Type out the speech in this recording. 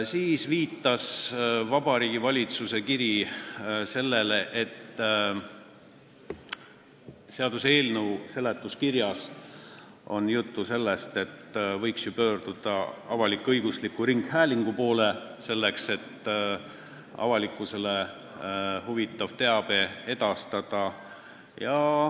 Siis viitas Vabariigi Valitsuse kiri sellele: seaduseelnõu seletuskirjas on juttu, et võiks pöörduda avalik-õigusliku ringhäälingu poole selleks, et avalikkust huvitavat teavet edastada.